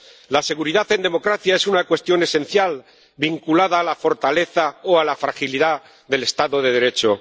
La seguridad en democracia es una cuestión esencial, vinculada a la fortaleza o a la fragilidad del Estado de Derecho.